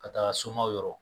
Ka taaga somaw yɔrɔ